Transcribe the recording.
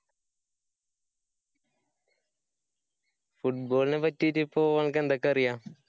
football നെ പറ്റിട്ടിപ്പോ അനക്ക്‌ എന്തൊക്കെ അറിയാം?